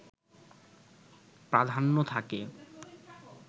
প্রাধান্য থাকে